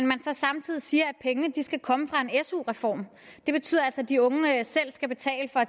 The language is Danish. man så samtidig siger at pengene skal komme fra en su reform det betyder altså at de unge selv skal betale for